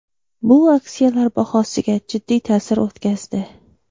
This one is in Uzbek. Bu aksiyalar bahosiga jiddiy ta’sir o‘tkazdi.